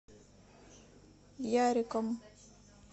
яриком